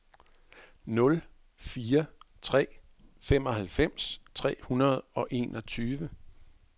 nul fire tre tre femoghalvfems tre hundrede og enogtyve